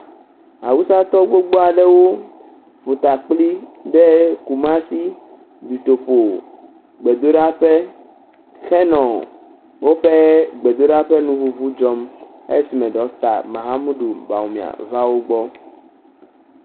Awusa gbogbo aɖewo ƒota kpli ɖe Kumasi dutoƒogbedoɖaƒe henɔ woƒe gbedoɖa ƒe nuŋuŋu dzɔm esime Ɖɔkita Mahammudu va wogbɔ.